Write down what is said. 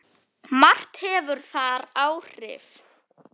Margt hefur þar áhrif.